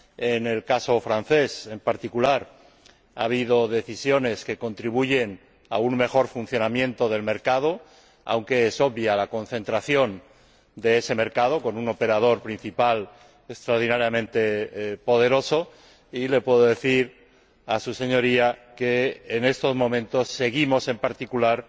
En el caso francés, en particular, ha habido decisiones que contribuyen a un mejor funcionamiento del mercado, aunque es obvia la concentración de ese mercado, con un operador principal extraordinariamente poderoso, y le puedo decir a su Señoría que, en estos momentos, seguimos, en particular,